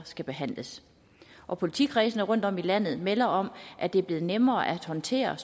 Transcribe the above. skal behandles og politikredsene rundtom i landet melder om at det er blevet nemmere at håndtere